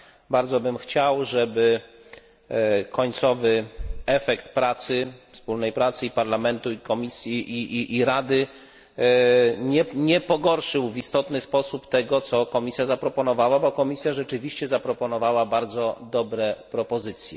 Bardzo bym chciał, żeby końcowy efekt pracy, wspólnej pracy i Parlamentu, i Komisji, i Rady, nie pogorszył w istotny sposób tego, co Komisja zaproponowała, bo Komisja rzeczywiście zaproponowała bardzo dobre propozycje.